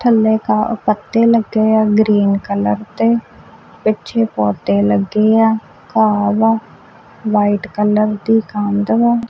ਥੱਲੇ ਘਾਹ ਅ ਪੱਤੇ ਲੱਗੇ ਆ ਗ੍ਰੀਨ ਕਲਰ ਦੇ ਪਿੱਛੇ ਪੌਧੇ ਲੱਗੇ ਆ ਘਾਹ ਵਾ ਲਾਈਟ ਕਲਰ ਦੀ ਕੰਧ ਵਾ।